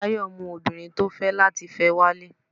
Tayo mú obinrín tí o fe lati fẹ walé